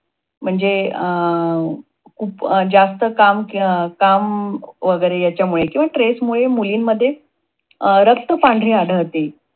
म्हणजे अं जास्त काम काम वगैरे किंवा stress मुळे मुलींमध्ये अं रक्त पांढरे आढळते.